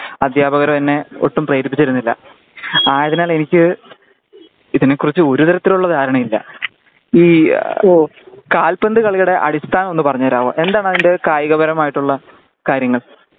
അധ്യാപകരോ എന്നെ ഒട്ടും പ്രേരിപ്പിച്ചിരുന്നില്ല ആയതിനാൽ എനിക്ക് ഇതിനെ കുറിച്ച് ഒരുതരത്തിലുള്ള ധാരണയും ഇല്ല. ഈ കാൽപ്പന്ത് കളിയുടെ അടിസ്ഥാനം ഒന്ന് പറഞ്ഞുതരാമോ . എന്താണ് അതിന്റെ കായിക പരമായിട്ടുള്ള കാര്യങ്ങൾ